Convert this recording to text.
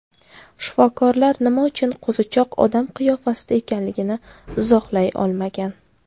Shifokorlar nima uchun qo‘zichoq odam qiyofasida ekanligini izohlay olmagan.